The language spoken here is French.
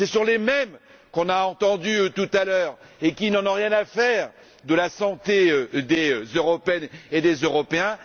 Ce sont les mêmes que nous avons entendus tout à l'heure, et qui n'en ont rien à faire de la santé des Européennes et des Européens.